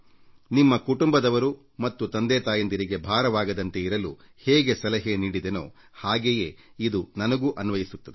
ನಿಮ್ಮ ಕುಟುಂಬದವರು ಮತ್ತು ತಂದೆತಾಯಿಯರಿಗೆ ಭಾರವಾಗದಂತೆ ಇರಲು ಹೇಗೆ ಸಲಹೆ ನೀಡಿದೆನೋ ಹಾಗೆಯೇ ಅದು ನನಗೂ ಅನ್ವಯಿಸುತ್ತದೆ